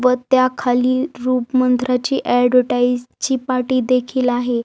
व त्या खाली रूप मंत्राची ॲडव्हर्टाइज ची पाटी देखील आहे.